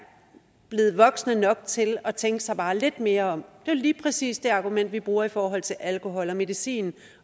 blevet voksne nok til at tænke sig bare lidt mere om det er lige præcis det argument vi bruger i forhold til alkohol og medicin